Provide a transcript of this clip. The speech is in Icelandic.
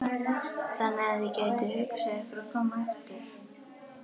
Þannig að þið gætuð hugsað ykkur að koma aftur?